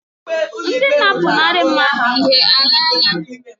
Ndị na-apụnara mmadụ ihe alaala?